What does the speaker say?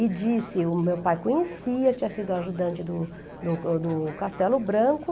E disse, o meu pai conhecia, tinha sido ajudante do do do Castelo Branco.